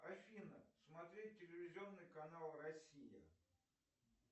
афина смотреть телевизионный канал россия